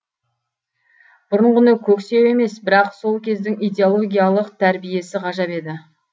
бұрынғыны көксеу емес бірақ сол кездің идиологиялық тәрбиесі ғажап еді